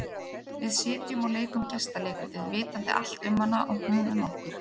Við sitjum og leikum gestaleikritið, vitandi allt um hana og hún um okkur.